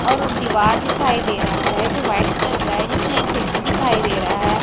और दीवार दिखाई दे रहा है जो व्हाइट कलर का है जिसमें एक खिड़की दिखाई दे रहा है।